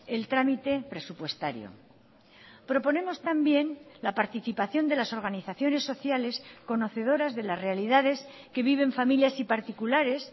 el trámite presupuestario proponemos también la participación de las organizaciones sociales conocedoras de las realidades que viven familias y particulares